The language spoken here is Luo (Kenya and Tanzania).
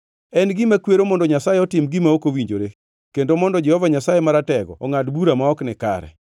En gima kwero mondo Nyasaye otim gima ok owinjore; kendo mondo Jehova Nyasaye Maratego ongʼad bura ma ok nikare.